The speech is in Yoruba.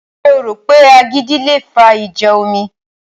Ṣé o rò pé agídí le fa ìjà omi?